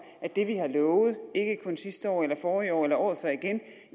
at det vi har lovet ikke kun sidste år eller forrige år eller året før igen